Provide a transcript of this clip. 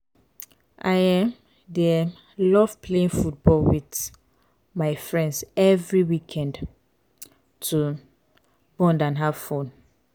i um dey um love playing football with um my friends every weekend to bond and have fun.